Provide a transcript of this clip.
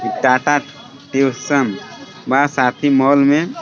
Tata tuition बसाती mall में.